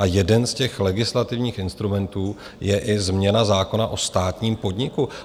A jeden z těch legislativních instrumentů je i změna zákona o státním podniku.